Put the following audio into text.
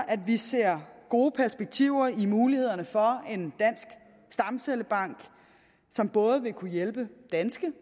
at vi ser gode perspektiver i mulighederne for en dansk stamcellebank som både vil kunne hjælpe danskere